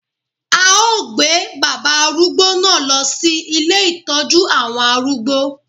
A ó gbé bàbá arúgbó náà lọ sí ilé Ìtọ́jú àwọn arúgbó.